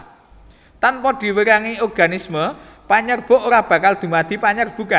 Tanpa direwangi organisme panyerbuk ora bakal dumadi panyerbukan